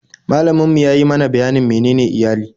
Malamin mu ya yi mana bayanin menene iyali